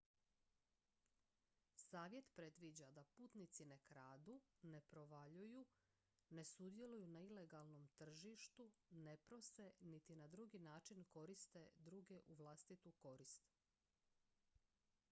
savjet predviđa da putnici ne kradu ne provaljuju ne sudjeluju na ilegalnom tržištu ne prose niti na drugi način koriste druge u vlastitu korist